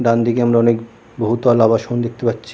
ডানদিকে আমরা অনেক বহুতল আবাসন দেখতে পাচ্ছি ।